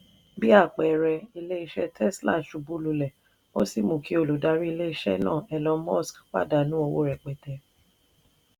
bí àpẹẹrẹ ilé iṣẹ́ tesla ṣubú lulẹ̀ ó sì mú kí olùdarí ilé iṣẹ́ náà elon musk pàdánù owó rẹpẹtẹ.